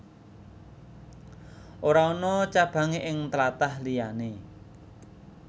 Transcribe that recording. Ora ana cabangé ing tlatah liyané